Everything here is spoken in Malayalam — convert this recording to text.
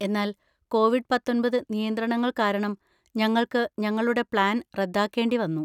എന്നാൽ കോവിഡ് പത്തൊന്‍പത് നിയന്ത്രണങ്ങൾ കാരണം ഞങ്ങൾക്ക് ഞങ്ങളുടെ പ്ലാൻ റദ്ദാക്കേണ്ടി വന്നു.